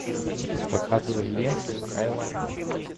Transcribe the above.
показывай ленту скайлайн